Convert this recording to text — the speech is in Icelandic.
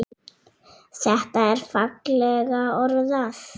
Þetta er fallega orðað.